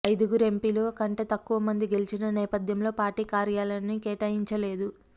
ఐదుగురు ఎంపీలు కంటే తక్కువ మంది గెలిచిన నేపథ్యంలో పార్టీ కార్యాలయాన్ని కేటాయించలేదు